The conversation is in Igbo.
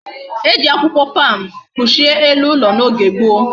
E ji akwukwo palm kpuchie elu ulo na oge gboo